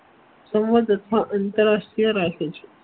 સંવાદ તથા આંતરરાષ્ટ્રીય રાશિ છે